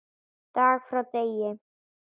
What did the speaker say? Dag frá degi.